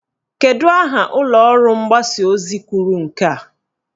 Kedu aha ụlọọrụ mgbasa ozi kwuru nke a?